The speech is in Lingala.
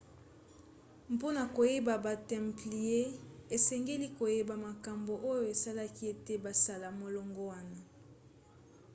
mpona koyeba ba templiers esengeli koyeba makambo oyo esalaki ete basala molongo wana